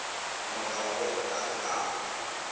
mogala gore a tle a